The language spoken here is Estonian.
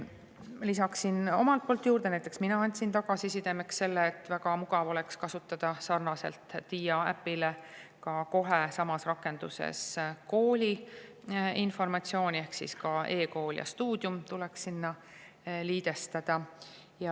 Lisan, et näiteks mina andsin tagasiside, et väga mugav oleks kasutada sarnaselt Dija äpiga kohe samas rakenduses kooli informatsiooni ehk siis e-kool ja Stuudium tuleks sinna liidestada.